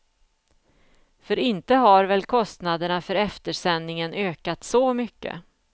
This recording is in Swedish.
För inte har väl kostnaderna för eftersändningen ökat så mycket?